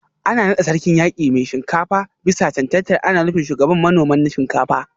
An nada Sarkin Yaki Mai Shinkafa bisa cancantar ana nufin Shugaban manoman Shinkafa